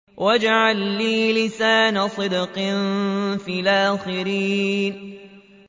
وَاجْعَل لِّي لِسَانَ صِدْقٍ فِي الْآخِرِينَ